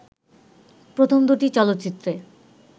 প্রথম দুটি চলচ্চিত্রে